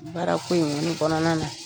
Baara ko in kɔni kɔnɔna na .